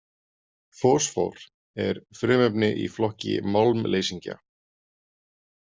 Fosfór er frumefni í flokki málmleysingja.